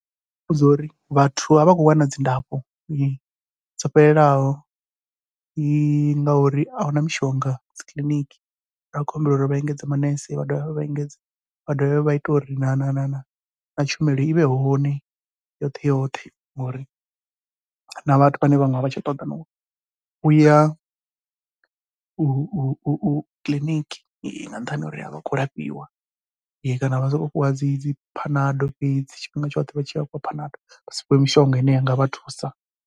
Ndi nga muvhudza uri vhathu a vha khou wana dzilafho dzo fhelelaho, ngauri ahuna mishonga dzi kiḽiniki nda khou humbela uri vha engedze manese vha dovhe vha engedze, vha dovhe vha ite uri ri na na na na na tshumelo ivhe hone yoṱhe yoṱhe. Ngori na vhathu vhane vhaṅwe avha tsha ṱoḓana na uya u u u kiḽiniki, nga nṱhani ha uri avha khou lafhiwa kana vha sokou fhiwa dzi dzi phanado fhedzi, tshifhinga tshoṱhe vha tshi ya vhafhiwa phanado vha si fhiwe mishonga ine i ngavha thusa.